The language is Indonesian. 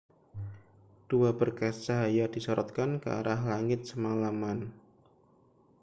dua berkas cahaya disorotkan ke arah langit semalaman